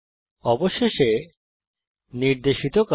অবশেষে নির্দেশিত কাজ